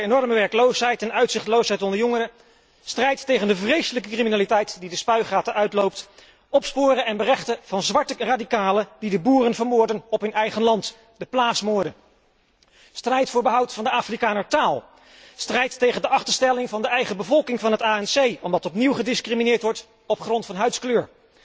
De strijd tegen de enorme werkloosheid en uitzichtloosheid onder jongeren, strijd tegen de vreselijke criminaliteit die de spuigaten uitloopt, opsporen en berechten van zwarte radicalen die de boeren vermoorden op hun eigen land, de plaatsmoorden, strijd voor behoud van de Afrikanertaal, strijd tegen de achterstelling van de eigen bevolking van het ANC, omdat opnieuw gediscrimineerd wordt op grond van huidskleur.